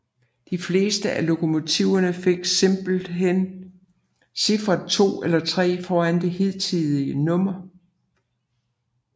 De fleste af lokomotiverne fik simpelthen cifferet 2 eller 3 foran det hidtidige nummer